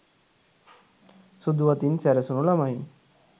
සුදු වතින් සැරසුණු ළමයින්